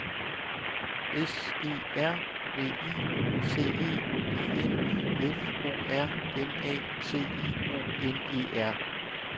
S E R V I C E I N F O R M A T I O N E R